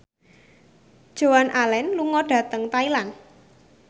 Joan Allen lunga dhateng Thailand